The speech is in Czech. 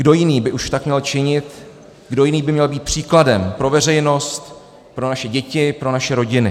Kdo jiný by už tak měl činit, kdo jiný by měl být příkladem pro veřejnost, pro naše děti, pro naše rodiny?